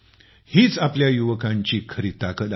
हीच आपल्या युवकांची खरी ताकद आहे